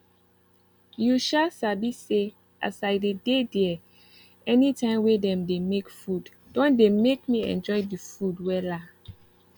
you um sabi say as i dey dey there anytime wey dem dey make food don dey make me enjoy the food wella